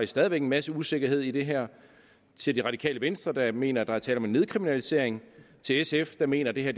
stadig væk en masse usikkerhed i det her til det radikale venstre der mener at der er tale om en nedkriminalisering til sf der mener at det her